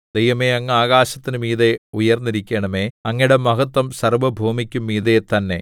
ദൈവമേ അങ്ങ് ആകാശത്തിനു മീതെ ഉയർന്നിരിക്കണമേ അങ്ങയുടെ മഹത്വം സർവ്വഭൂമിക്കും മീതെ തന്നെ